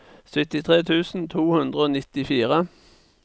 syttitre tusen to hundre og nittifire